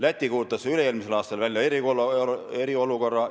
Läti kuulutas üle-eelmisel aastal välja eriolukorra.